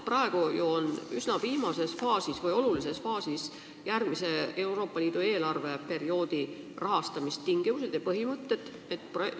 Praegu on üsna viimases või olulises faasis Euroopa Liidu järgmise eelarveperioodi rahastamise tingimuste ja põhimõtete otsustamine.